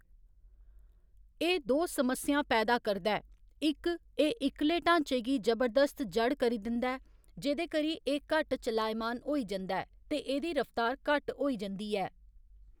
एह्‌‌ दो समस्यां पैदा करदा ऐ इक, एह्‌‌ इक्कले ढांचे गी जबरदस्त जड़ करी दिंदा ऐ, जेह्‌‌‌दे करी एह्‌‌ घट्ट चलाएमान होई जंदा ऐ ते एह्‌‌‌दी रफ्तार घट्ट होई जंदी ऐ।